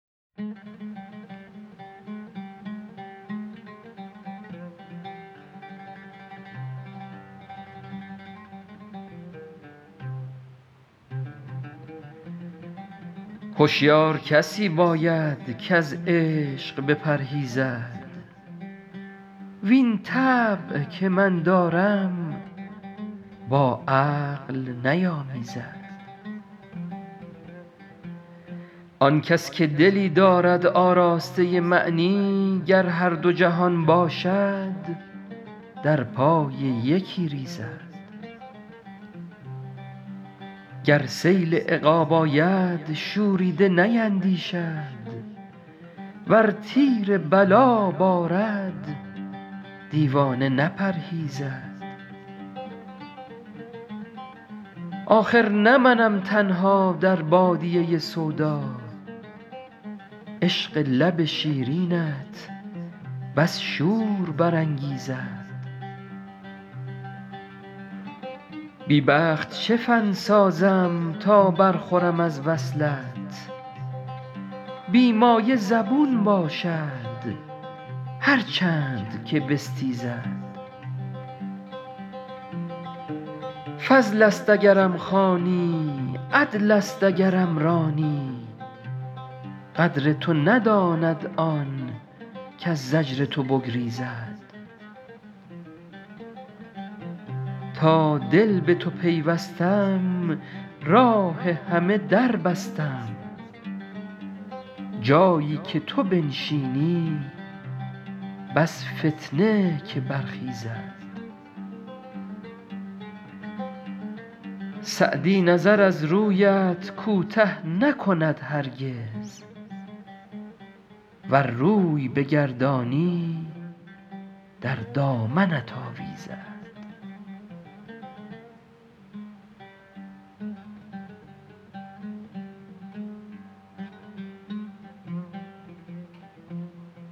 هشیار کسی باید کز عشق بپرهیزد وین طبع که من دارم با عقل نیامیزد آن کس که دلی دارد آراسته معنی گر هر دو جهان باشد در پای یکی ریزد گر سیل عقاب آید شوریده نیندیشد ور تیر بلا بارد دیوانه نپرهیزد آخر نه منم تنها در بادیه سودا عشق لب شیرینت بس شور برانگیزد بی بخت چه فن سازم تا برخورم از وصلت بی مایه زبون باشد هر چند که بستیزد فضل است اگرم خوانی عدل است اگرم رانی قدر تو نداند آن کز زجر تو بگریزد تا دل به تو پیوستم راه همه در بستم جایی که تو بنشینی بس فتنه که برخیزد سعدی نظر از رویت کوته نکند هرگز ور روی بگردانی در دامنت آویزد